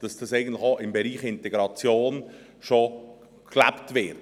dass dies eigentlich auch im Bereich der Integration bereits gelebt wird.